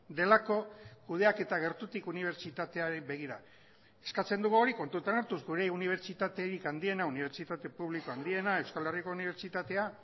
delako kudeaketa gertutik unibertsitateari begira eskatzen dugu hori kontutan hartuz gure unibertsitaterik handiena unibertsitate publiko handiena euskal herriko unibertsitatea